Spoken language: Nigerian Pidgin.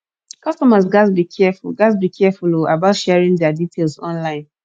customers gats be careful gats be careful um about sharing diir details online